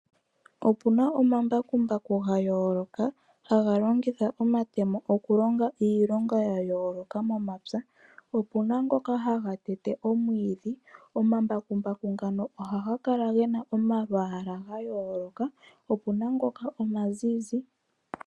Opuna omambakumbaku ga yooloka haga longitha omatemo okulonga iilonga yayooloka momapya, opuna ngoka haga tete omwidhi. Omambakumbaku ngano ohaga kala gena omalwala gayoloka, opuna ngoka omazizi.